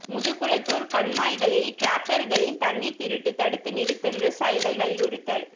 முதுகுளத்தூர் கண்மாய்களில் டிராக்டர்களில் தண்ணீர் திருட்டு தடுத்து நிறுத்த விவசாயிகள் வலியுறுத்தல்